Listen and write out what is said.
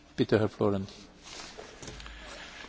Herr Präsident, meine Damen und Herren!